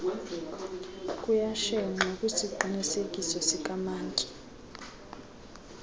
kuyashenxwa kwisiqinisekiso sikamantyi